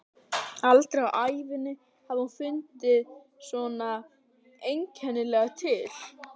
Aldrei á ævi sinni hafði hún fundið svona einkennilega til.